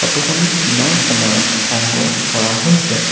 Photo খন দিনৰ সময়ত সংগ্ৰহ কৰা হৈছে।